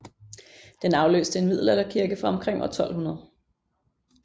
Den afløste en middelalderkirke fra omkring år 1200